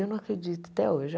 Eu não acredito até hoje.